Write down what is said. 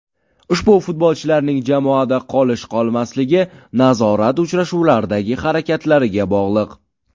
Ushbu futbolchilarning jamoada qolish-qolmasligi nazorat uchrashuvlaridagi harakatlariga bog‘liq.